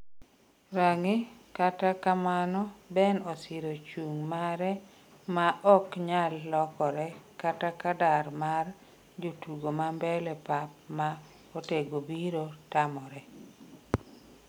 (rang'i) kata kamano, Ben osiro chung' mare ma ok nyal lokore kata ka dar mar jotugo ma mbele pap ma otego biro tamore